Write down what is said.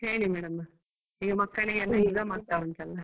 ಹೇಳಿ madam ಈಗ ಮಕ್ಕಳಿಗೆಲ್ಲ exam ಆಗ್ತಾ ಉಂಟು ಅಲ್ಲ.